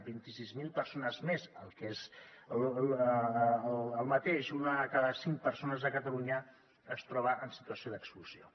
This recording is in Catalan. vint sis mil persones més el que és el mateix una de cada cinc persones a catalunya es troba en situació d’exclusió